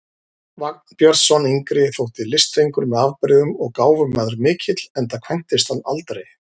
Vagn Björnsson yngri þótti listfengur með afbrigðum og gáfumaður mikill, enda kvæntist hann aldrei.